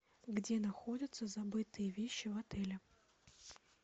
где находятся забытые вещи в отеле